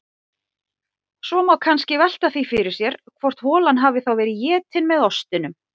Svo má kannski velta því fyrir sér hvort holan hafi þá verið etin með ostinum.